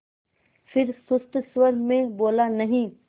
फिर सुस्त स्वर में बोला नहीं